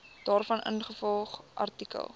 daarvan ingevolge artikel